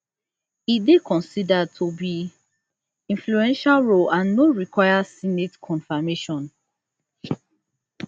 e dey considered to be influential role and no require senate confirmation